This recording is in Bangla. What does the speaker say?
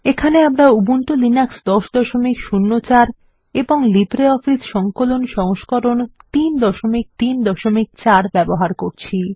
এখানে আমরা উবুন্টু লিনাক্স ১০০৪ এবং লিব্রিঅফিস সংকলন সংস্করণ ৩৩৪ ব্যবহার করছি